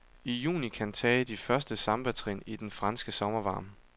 I juni kan tage de første sambatrin i den franske sommervarme.